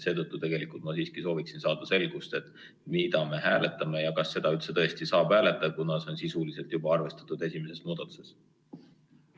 Seetõttu ma tegelikult siiski soovin saada selgust, mida me hääletame ja kas seda üldse saab hääletada, kuna see on sisuliselt juba arvestatud esimeses muudatusettepanekus.